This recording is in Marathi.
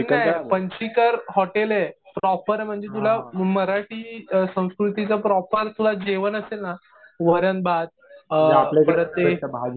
चीकन नाही पंचीकर हॉटेल आहे. प्रॉपर म्हणजे तुला मराठी संस्कृतीचं प्रॉपर तुला जेवण असेल ना वरण भात परत ते